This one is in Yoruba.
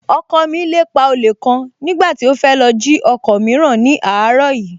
Ọkọ mi lépa olè kan nígbà tí ó fẹ́ lọ jí ọkọ̀ mìíràn ní àárọ̀ yìí